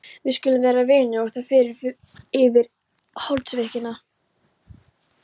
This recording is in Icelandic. Við skulum vera vinir og það fyrnist yfir holdsveikina.